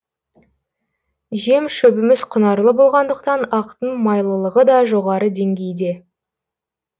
жем шөбіміз құнарлы болғандықтан ақтың майлылығы да жоғары деңгейде